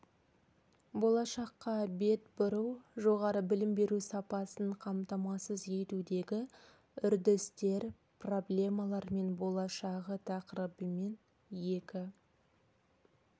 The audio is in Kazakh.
болашаққа бет бұру жоғары білім беру сапасын қамтамасыз етудегі үрдістер проблемалар мен болашағы тақырыбымен екі